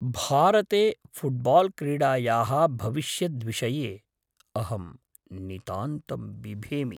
भारते फ़ुट्बाल्क्रीडायाः भविष्यद्विषये अहं नितान्तं बिभेमि।